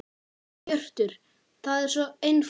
Hjörtur: Það er svo einfalt?